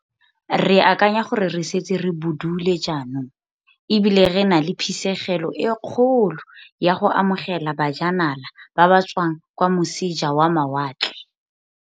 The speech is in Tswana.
Re akanya gore re setse re budule jaanong e bile re na le phisegelo e kgolo ya go amogela bajanala ba ba tswang kwa moseja wa mawatle.